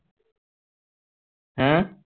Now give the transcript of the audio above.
হম